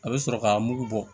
A bɛ sɔrɔ k'a mugu bɔ